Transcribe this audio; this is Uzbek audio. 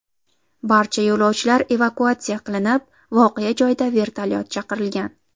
Barcha yo‘lovchilar evakuatsiya qilinib, voqea joyida vertolyot chaqirilgan.